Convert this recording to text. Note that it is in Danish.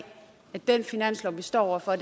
at den finanslov vi står over for